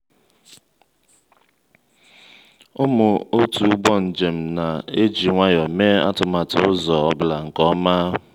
ụmụ otu ụgbọ njem na-eji nwayọ mee atụmatụ ụzọ ọ bụla nke ọma.